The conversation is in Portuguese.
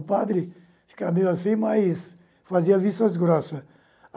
O padre ficava meio assim, mas fazia vistas grossas.